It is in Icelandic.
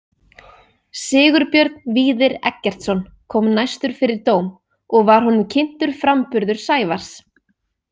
Sigurbjörn Víðir Eggertsson kom næstur fyrir dóm og var honum kynntur framburður Sævars.